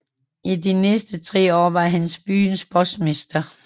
I de næste tre år var han byens postmester